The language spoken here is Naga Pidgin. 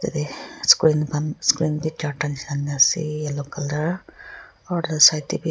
eh screen khan screen bhi charta nisna ena ase yellow colour or right side teh bhi--